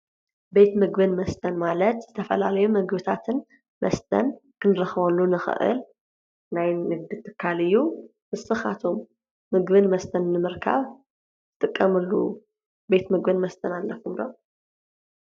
ቤት ምግብን መስተን ማለት ዝተፈላለዩ ምግብታትን መስተን ክንረኽበሉ እንኽእል ናይ ንግዲ ትካል እዩ፡፡ ንስኻትኩም ምግብን መስተን ንምርካብ ትጥቀምሉ ቤት ምግብን መስተን ኣለኩም ዶ?